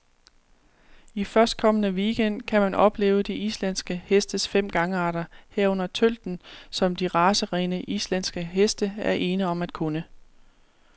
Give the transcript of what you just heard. I førstkommende weekend gang kan man opleve de islandske hestes fem gangarter, herunder tølten, som de racerene, islandske heste er ene om at kunne.